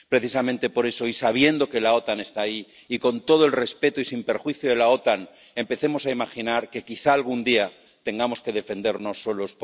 Precisamente por eso —y sabiendo que la OTAN está ahí, y con todo el respeto, y sin perjuicio de la OTAN—, empecemos a imaginar que quizás, algún día, tengamos que defendernos solos.